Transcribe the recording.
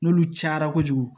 N'olu cayara kojugu